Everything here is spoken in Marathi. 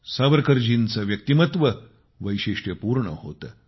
सावरकरजींचे व्यक्तिमत्व वैशिष्ट्यपूर्ण होते